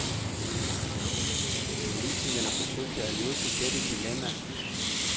Politikerne forsøgte at løse dette dilemma.